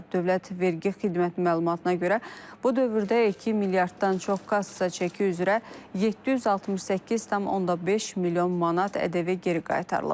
Dövlət Vergi Xidmətinin məlumatına görə bu dövrdə 2 milyarddan çox kassa çəki üzrə 768,5 milyon manat ƏDV geri qaytarılıb.